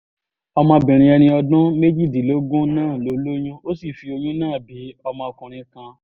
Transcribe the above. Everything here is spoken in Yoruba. ọmọbìnrin ẹni ọdún méjìdínlógún náà ló lóyún ó sì fi oyún náà bí ọmọkùnrin kan